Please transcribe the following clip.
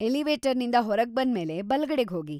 ಎಲಿವೇಟರ್ನಿಂದ ಹೊರಗ್ಬಂದ್ಮೇಲೆ ಬಲ್ಗಡೆಗ್ಹೋಗಿ.